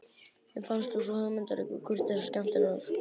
Mér fannst þú svo hugmyndaríkur, kurteis og skemmtilegur.